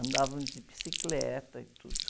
Andavam de bicicleta e tudo.